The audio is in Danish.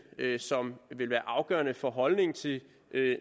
som vil være afgørende for holdningen til en